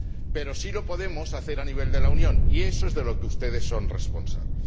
Pero sí lo podemos hacer a nivel de la Unión, y eso es de lo que ustedes son responsables.